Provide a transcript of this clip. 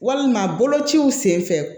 Walima bolociw senfɛ